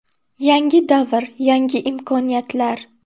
Yangi davr – yangi imkoniyatlar!